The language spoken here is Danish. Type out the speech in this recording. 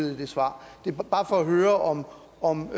i de svar det er bare for at høre om